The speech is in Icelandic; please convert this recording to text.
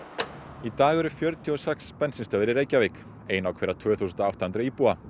í dag eru fjörutíu og sex bensínstöðvar í Reykjavík ein á hverja tvö þúsund og átta hundruð íbúa